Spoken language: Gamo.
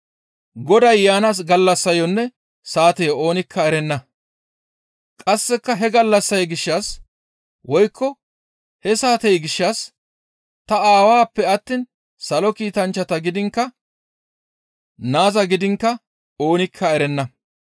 «Qasse he gallassay gishshas woykko he saatey gishshas ta Aawappe attiin Salo Kiitanchchata gidiinkka Naaza gidiinkka oonikka erenna.